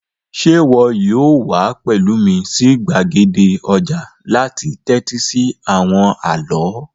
Sé wo yóò wa pẹ̀lu mí si gbàgede ojà láti tẹ́tí si àwon àló?